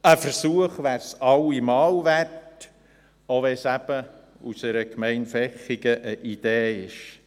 Ein Versuch wäre es allemal wert, selbst wenn es eine Idee aus der Gemeinde Vechigen ist.